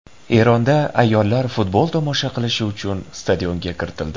Eronda ayollar futbol tomosha qilishi uchun stadionga kiritildi.